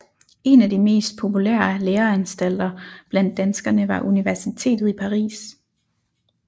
En af de mest populære læreanstalter blandt danskerne var universitetet i Paris